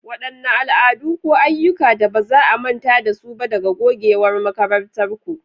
Wadanne al'adu ko ayyuka da ba za a manta da su ba daga gogewar makarantarku?